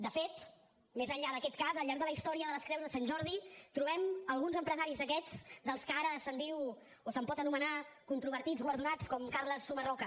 de fet més enllà d’aquest cas al llarg de la història de les creus de sant jordi trobem alguns empresaris d’aquests dels que ara se’n diu o se’n pot anomenar controvertits guardonats com carles sumarroca